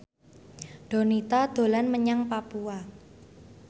Donita dolan menyang Papua